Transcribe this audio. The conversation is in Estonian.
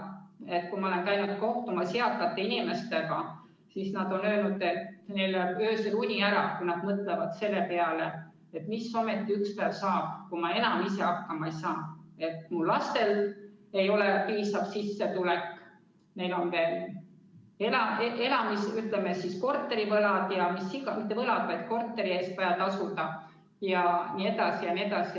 Kui ma olen käinud kohtumas eakate inimestega, siis nad on öelnud, et neil läheb öösel uni ära, kui nad mõtlevad selle peale, mis ometi üks päev saab, kui nad ise enam hakkama ei saa, kui lastel ei ole piisav sissetulek ja neil on veel elamiskulud, korteri eest on vaja tasuda jne, jne.